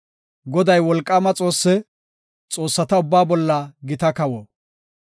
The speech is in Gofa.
Goday wolqaama Xoosse; xoossata ubbaa bolla gita kawo.